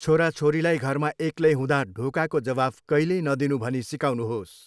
छोराछोरीलाई घरमा एक्लै हुँदा ढोकाको जवाफ कहिल्यै नदिनू भनी सिकाउनुहोस्।